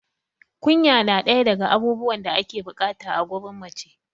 kunya na ɗaya daga abubuwan da ake bukata gurin mace